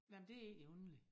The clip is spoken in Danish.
Nej men det egentlig underligt